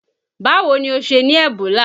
Báwo ni ó ṣe ní Ebola?